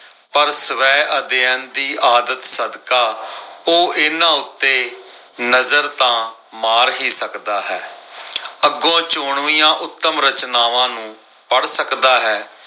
ਪਰ ਸਵੈ ਅਧਿਐਨ ਦੀ ਆਦਤ ਸਦਕਾ, ਉਹ ਇਨ੍ਹਾਂ ਉੱਤੇ ਨਜ਼ਰ ਤਾਂ ਮਾਰ ਹੀ ਸਕਦਾ ਹੈ। ਅੱਗੋਂ ਚੋਣਵੀਆਂ ਉੱਤਮ ਰਚਨਾਵਾਂ ਨੂੰ ਪੜ੍ਹ ਸਕਦਾ ਹੈ।